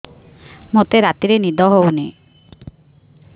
ମୋତେ ରାତିରେ ନିଦ ହେଉନି